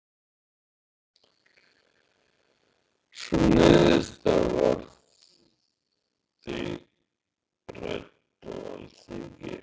Sú niðurstaða verði rædd á Alþingi